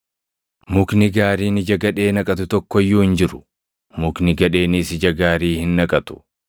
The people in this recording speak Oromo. “Mukni gaariin ija gadhee naqatu tokko iyyuu hin jiru; mukni gadheenis ija gaarii hin naqatu.